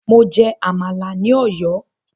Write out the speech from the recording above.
Mo jẹ Àmàlà ní ọ̀yọ́